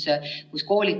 Need on kõik elektroonilised.